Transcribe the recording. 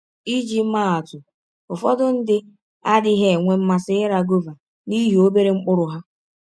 Iji maa atụ: Ụfọdụ ndị adịghị enwe mmasị ịra gọva n’ihi ọbere mkpụrụ ha.